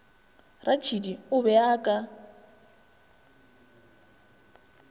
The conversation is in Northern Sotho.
ratšhidi o be o ka